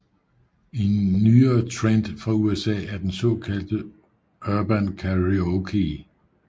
En nyere trend fra USA er den såkaldte Urban Karaoke